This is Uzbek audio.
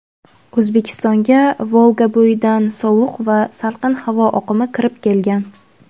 O‘zbekistonga Volgabo‘yidan sovuq va salqin havo oqimi kirib kelgan.